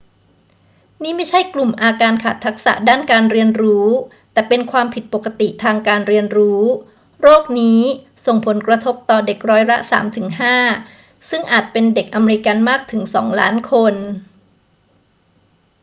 นี่ไม่ใช่กลุ่มอาการขาดทักษะด้านการเรียนรู้ แต่เป็นความผิดปกติทางการเรียนรู้ โรคนี้ ส่งผลกระทบต่อเด็กร้อยละ 3 ถึง 5 ซึ่งอาจเป็นเด็กอเมริกันมากถึง 2 ล้านคน